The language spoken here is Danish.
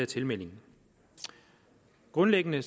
tilmelding grundlæggende